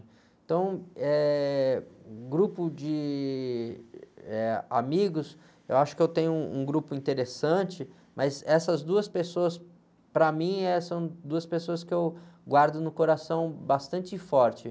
Então, eh, grupo de amigos, de, eh, eu acho que eu tenho um grupo interessante, mas essas duas pessoas, para mim, eh, são duas pessoas que eu guardo no coração bastante forte.